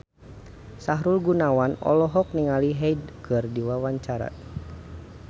Sahrul Gunawan olohok ningali Hyde keur diwawancara